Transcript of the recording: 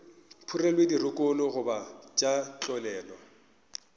phurelwe dirokolo goba tša tlolelwa